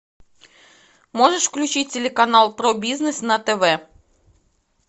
можешь включить телеканал про бизнес на тв